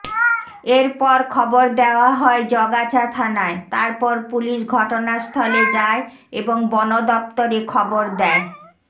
এরপর খবর দেওয়া হয় জগাছা থানায় তারপর পুলিশ ঘটনাস্থলে যায় এবং বন দফতরে খবর দেয়